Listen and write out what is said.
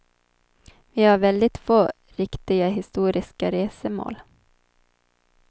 Vi har väldigt få riktiga historiska resmål.